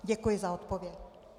Děkuji za odpověď.